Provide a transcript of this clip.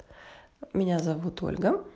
меня зовут ольга